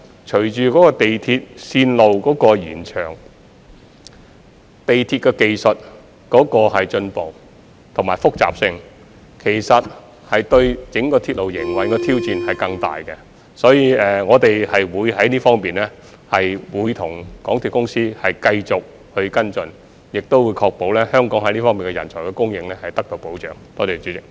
隨着港鐵線路的延長、鐵路技術的進步和複雜性，營運整個鐵路的挑戰將會更大，所以我們會在這方面與港鐵公司繼續跟進，亦會確保香港在這方面的人才供應得到保障。